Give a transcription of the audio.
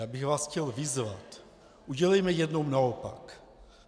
Já bych vás chtěl vyzvat, udělejme jednou opak.